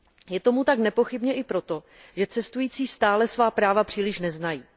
Je tomu tak nepochybně i proto, že cestující stále svá práva příliš neznají.